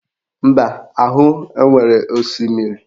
Mba ahụ enwere osimiri?